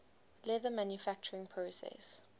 leather manufacturing process